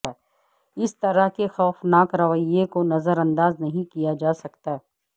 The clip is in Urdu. اس طرح کے خوفناک رویے کو نظر انداز نہیں کیا جاسکتا